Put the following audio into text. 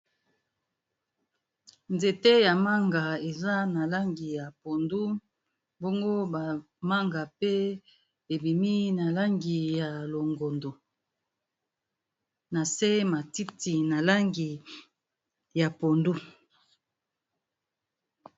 nzete ya manga eza na langi ya pondu bongo bamanga pe ebimi na langi ya longondo na se matiti na langi ya pondu